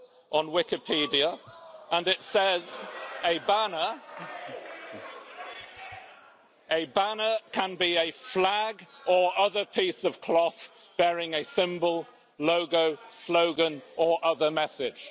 on Wikipedia, and it says A banner can be a flag or other piece of cloth bearing a symbol, logo, slogan or other message'.